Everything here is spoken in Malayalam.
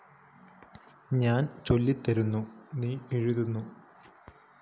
ഞാന്‍ ചൊല്ലിത്തരുന്നു നീ എഴുതുന്നു